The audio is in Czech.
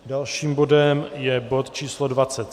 Dalším bodem je bod číslo